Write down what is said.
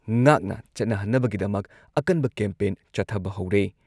ꯉꯥꯛꯅ ꯆꯠꯅꯍꯟꯅꯕꯒꯤꯗꯃꯛ ꯑꯀꯟꯕ ꯀꯦꯝꯄꯦꯟ ꯆꯠꯊꯕ ꯍꯧꯔꯦ